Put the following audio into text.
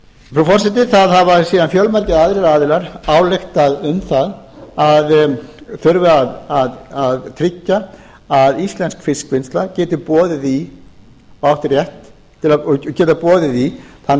frú forseti það hafa síðan fjölmargir aðrir aðilar ályktað um að það þurfi að tryggja að íslensk fiskvinnsla geti boðið í þann